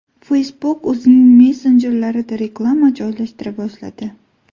Facebook o‘zining messenjerida reklama joylashtira boshladi.